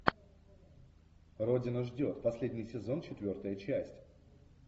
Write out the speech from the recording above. родина ждет последний сезон четвертая часть